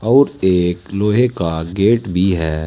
और एक लोहे का गेट भी है।